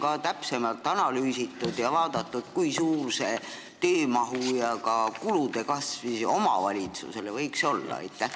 Kas on täpsemalt analüüsitud ja vaadatud, kui suur võiks olla see töömahu ja ka kulude kasv omavalitsusele?